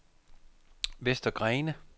Vester Grene